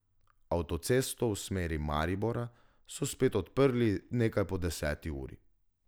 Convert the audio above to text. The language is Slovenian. Avtocesto v smeri Maribora so spet odprli nekaj po deseti uri.